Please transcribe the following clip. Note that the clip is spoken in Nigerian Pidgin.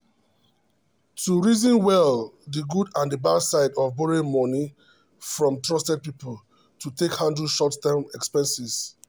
to reason well the good and bad side of borrowing money from trusted people to take handle short term expenses.